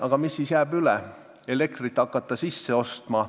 Aga mis siis üle jääb, kas hakata elektrit sisse ostma?